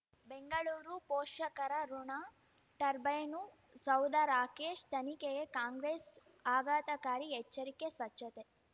ಬೆಂಗಳೂರು ಪೋಷಕರಋಣ ಟರ್ಬೈನು ಸೌಧ ರಾಕೇಶ್ ತನಿಖೆಗೆ ಕಾಂಗ್ರೆಸ್ ಆಘಾತಕಾರಿ ಎಚ್ಚರಿಕೆ ಸ್ವಚ್ಛತೆ